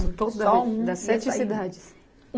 das sete cidades